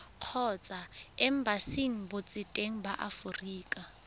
kgotsa embasing botseteng ba aforika